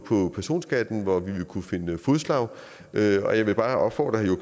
på personskatten hvor vi ville kunne finde fælles fodslag og jeg vil bare opfordre herre